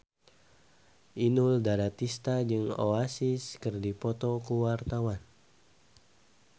Inul Daratista jeung Oasis keur dipoto ku wartawan